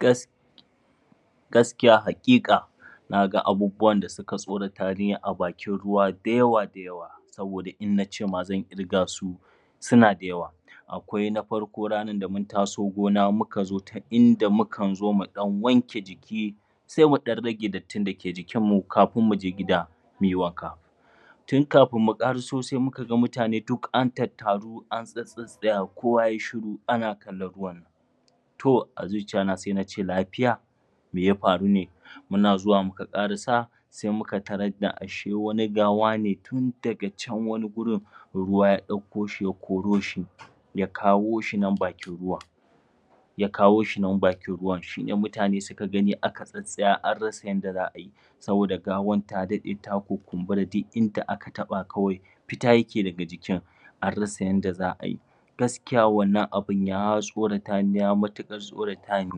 Gas Gaskiya hakika na ga abubuwan da suka tsorata ni a bakin ruwa da yawa saboda in ance ma zan ƙirga su suna da yawa. Akwai na farko ranar da mun taso gona muka zo inda mukan zo mu ɗan wanke jiki, sai mu ɗan rage dattin da ke jikinmu kafin muje gida muyi wanka. Tun kafin mu ƙaraso sai muka ga mutane duk an tattaru an tsattsaya kowa yai shiru ana kallon ruwan nan to a zuciya ta sai nace lafiya? Me ya farune? Muna zuwa muka ƙaraa, sai muka tarar da she wani gawa ne tun daga can wani wurin ruwa ya ɗauko shi ya koro shi, ya kawo shi nan ya kawo shi nan bakin ruwan shine mutane suka gani aka tsattsaya an rasa yadda za ayi. Saboda gawan ta daɗe ta kunkumbura duk in da aka taɓa kawai fita ya ke daga jikin, an rsa yadda za'a yi. Gaskiya wanna abun ya tsorata ni ya matuƙar tsoratani,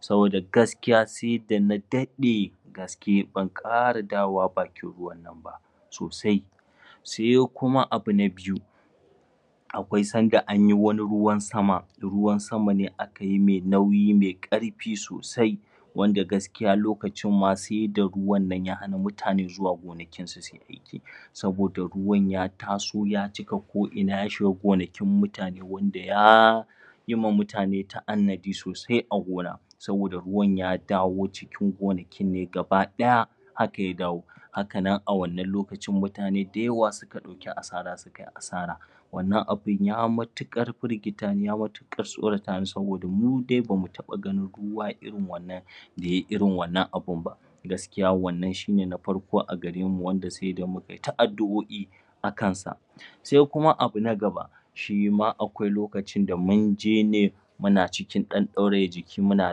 saboda gaskiya, sai da na daɗe da gaske ban ƙara dawowa bakin ruwan nan ba sosai Sai kuma abu na Biyu: Akwai sanda anyi wani ruwan sama ruwan sama ne akayi mai nauyi mai ƙarfi sosai wanda gaskiya lokacin ma sai da ruwan ya hana mutane zuwa gona, Saboda ruwan ya taso ya cika koina ya shiga gonaki mutane wanda ya ya yima mutane ta'annadi sosai a gona saboda ruwan ya dawo cikin gonakinne gaba ɗaya haka ya dawo, kahanan a wanan lokacin mutane da yawa suka ɗauki asara, sukai asara. Wannan abun ya matuƙar firgita niya matuƙar tsorata ni saboda mu dai bamu taɓa ganin ruwan irin wannan da yai irin wannan abunba. GAskiya wannan shine na farko a gare mu wanda sai da mu kai ta addu'o'i akansa, Sai kuma abu na gaba, shima akwai lokacin da mun je ne muna cikin ɗan ɗauraye jiki muna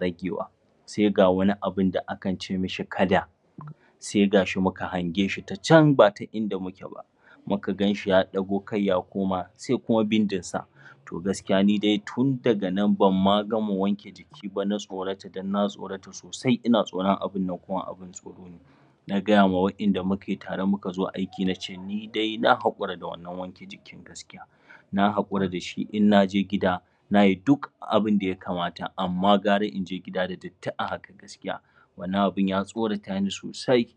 ragewa, sai ga wani abunda akan ce mishi kada, sai ga shi muka hange ta can bata in da muke ba, muka ganshiya ɗago kai ya koma sai kuma bindin sa. To nidai gaskiya tun daga nan bamma gama wanke jiki ba na tsorata don na tsorata sosai sosai ina tsoron abun nan kuma Na gayamwa waɗanda mu tare mu zo aiki na ce ni dai na haƙura da wannan jikin gaskiya Na hakura da shi in na je gida nayi duk abunda ya kmata amma gara in je gida da datti a haka gaskiya, wannan abun ya tsorarata ni sosai.